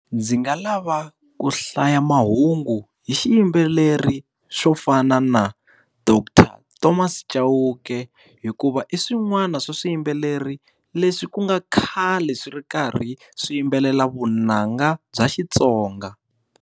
Ndzi nga lava ku hlaya mahungu hi xiyimbeleri swo fana na doctor Thomas Chauke. Hikuva i swin'wana swa swiyimbeleri leswi ku nga khale swi ri karhi swiyimbelela vunanga bya xitsonga.